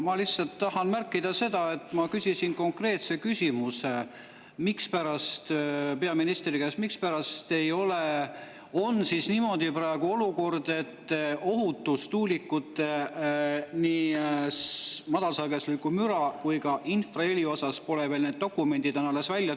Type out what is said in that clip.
Ma lihtsalt tahan märkida seda, et ma küsisin konkreetse küsimuse peaministri käest: mispärast on siis olukord praegu niimoodi, et tuulikute ohutus nii madalsagedusliku müra kui ka infraheli osas pole veel.